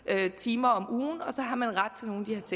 timer om ugen og så har man